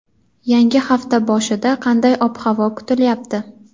Yangi hafta boshida qanday ob-havo kutilyapti?.